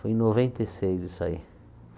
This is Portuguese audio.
Foi em noventa e seis isso aí.